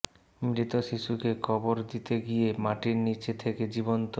মৃত শিশুকে কবর দিতে গিয়ে মাটির নীচ থেকে জীবন্ত